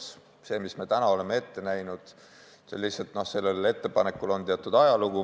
Sellel ettepanekul, mis me täna oleme ette näinud, on lihtsalt teatud ajalugu.